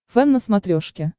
фэн на смотрешке